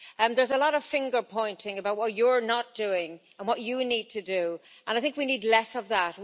There's a lot of finger pointing about what you're not doing and what you need to do and I think we need less of that.